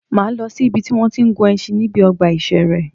Máa lọ si ìbi tí wọ́n tí ń gun ẹṣin níbi ọgbà ìṣẹ̀rẹ́.